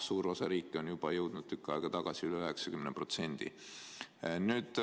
Suur osa riike on juba jõudnud tükk aega tagasi üle 90%.